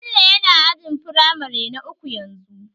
Bello yana ajin firamare na uku yanzu